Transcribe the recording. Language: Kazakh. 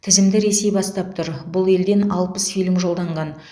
тізімді ресей бастап тұр бұл елден алпыс фильм жолданған